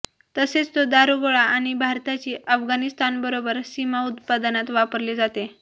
तसेच तो दारुगोळा आणि भारताची अफगाणिस्तानबरोबर सीमा उत्पादनात वापरले जाते